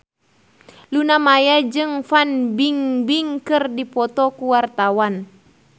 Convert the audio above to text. Luna Maya jeung Fan Bingbing keur dipoto ku wartawan